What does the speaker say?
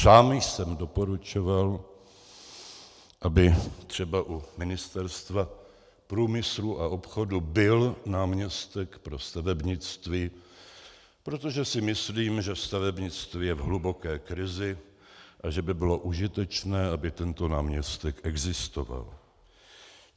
Sám jsem doporučoval, aby třeba u Ministerstva průmyslu a obchodu byl náměstek pro stavebnictví, protože si myslím, že stavebnictví je v hluboké krizi a že by bylo užitečné, aby tento náměstek existoval.